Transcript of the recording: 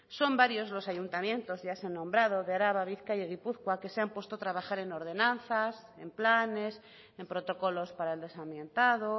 son varias los ayuntamientos ya se han nombrado de araba bizkaia y gipuzkoa que se han puesto a trabajar en ordenanzas en planes en protocolos para el desamiantado